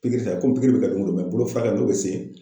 Pikiri bi kɛ pikiri bi kɛ don o don bolo furakɛ n'o be sen